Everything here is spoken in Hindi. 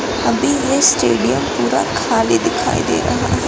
अभी ये स्टेडियम पूरा खाली दिखाई दे रहा है।